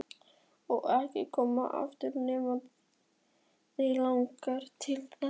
Og ekki koma aftur nema þig langi til þess.